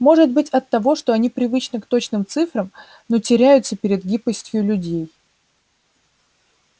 может быть оттого что они привычны к точным цифрам но теряются перед гибкостью людей